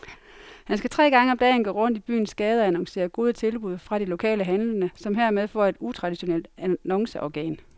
Han skal tre gange om dagen gå rundt i byens gader og annoncere gode tilbud fra de lokale handlende, som hermed får et utraditionelt annonceorgan.